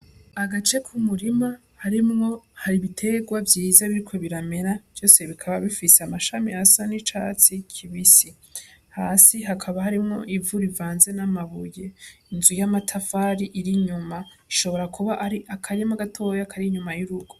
Agace k'umurima harimwe hari ibitegwa vyiza biriko biramera vyose bikaba bifise amashami asa n' icatsi kibisi hasi hakaba harimwo ivu rivanze n' amabuye inzu y' amatafari iri inyuma ishobora kuba ari akarima gatoyi kaba inyuma y' urugo.